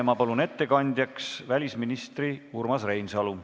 Ma palun ettekandjaks välisminister Urmas Reinsalu.